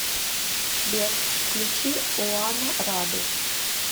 сбер включи оана раду